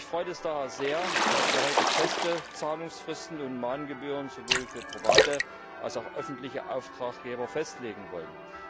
Mich freut es daher sehr, dass wir heute feste Zahlungsfristen und Mahngebühren sowohl für private als auch für öffentliche Auftraggeber festlegen wollen.